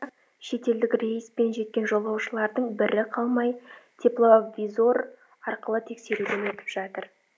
шетелдік рейспен жеткен жолаушылардың бірі қалмай тепловизор арқылы тексеруден өтіп жатыр